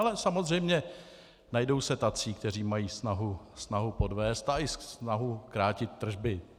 Ale samozřejmě se najdou tací, kteří mají snahu podvést a i snahu krátit tržby.